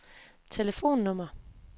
telefonnummer